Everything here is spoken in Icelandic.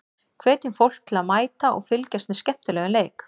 Hvetjum fólk til að mæta og fylgjast með skemmtilegum leik.